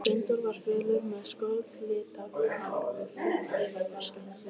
Steindór var fölur, með skollitað hár og þunnt yfirvararskegg.